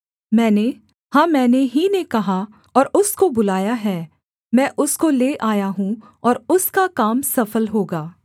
मैंने हाँ मैंने ही ने कहा और उसको बुलाया है मैं उसको ले आया हूँ और उसका काम सफल होगा